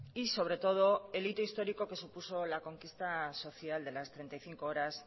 y sobre todo el hito histórico que supuso la conquista social de las treinta y cinco horas